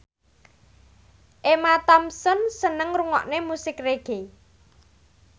Emma Thompson seneng ngrungokne musik reggae